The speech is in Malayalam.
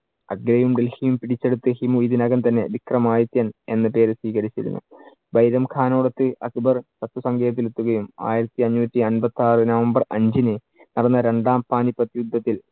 ആഗ്രയും ഡൽഹിയും പിടിച്ചെടുത്ത് ഹിമു ഇതിനകം തന്നെ വിക്രമാദിത്യൻ എന്ന പേര് സ്വികരിച്ചിരുന്നു. ബൈരം ഖാനോടൊത് അക്ബർ ശത്രുസങ്കേതത്തിൽ എത്തുകയും. ആയിരത്തിഅഞ്ഞൂറ്റി അമ്പത്തിയാറ്‌ നവംബർ അഞ്ചിനു പിറന്ന രണ്ടാം പാനിപ്പത്ത് യുദ്ധത്തിൽ